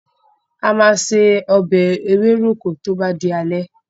A máa se ọbẹ̀ ewéròkó tó bá di alẹ́.